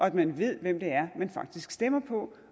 at man ved hvem det er man faktisk stemmer på